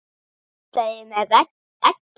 Penslað yfir með eggi.